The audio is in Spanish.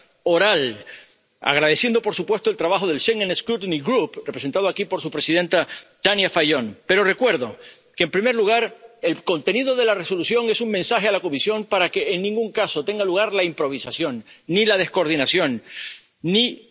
que resulte de esta pregunta oral agradeciendo, por supuesto, el trabajo del Schengen Scrutiny Group representado aquí por su presidenta Tanja Fajon, pero recuerdo que, en primer lugar, el contenido de la Resolución es un mensaje a la Comisión para que en ningún caso tenga lugar la improvisación, ni la descoordinación, ni